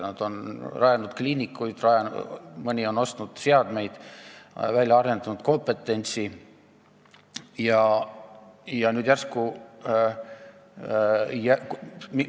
Nad on rajanud kliinikuid, mõni on ostnud seadmeid ja arendanud välja kompetentsi.